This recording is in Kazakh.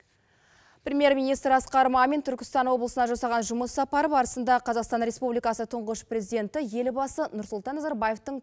премьер министр асқар мамин түркістан облысына жасаған жұмыс сапары барысында қазақстан республикасы тұңғыш президенті елбасы нұрсұлтан назарбаевтың